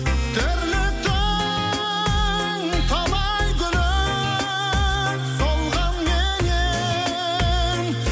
тірліктің талай гүлі солғанменен